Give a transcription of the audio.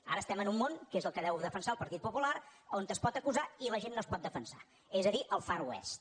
ara estem en un món que és el que deu defen·sar el partit popular on es pot acusar i la gent no es pot defensar és a dir el far west